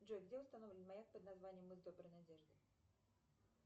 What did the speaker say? джой где установлен маяк под названием мыс доброй надежды